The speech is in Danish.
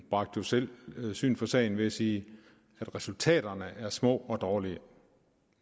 bragte jo selv syn for sagen ved at sige at resultaterne er små og dårlige